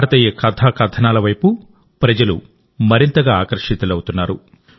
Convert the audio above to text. భారతీయ కథా కథనాల వైపు ప్రజలు మరింతగా ఆకర్షితులవుతున్నారు